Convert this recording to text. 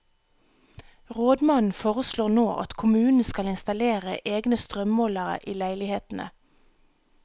Rådmannen foreslår nå at kommunen skal installere egne strømmålere i leilighetene.